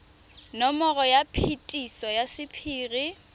nomoro ya phetiso ya sephiri